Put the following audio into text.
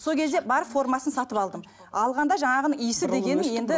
сол кезде бар формасын сатып алдым алғанда жаңағының иісі дегенің енді